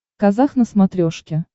казах на смотрешке